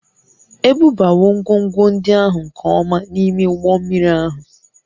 Ebubawo ngwongwo ndị ahụ nke ọma n'ime ụgbọ mmiri ahụ